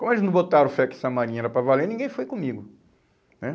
Como eles não botaram fé que essa marinha era para valer, ninguém foi comigo, né.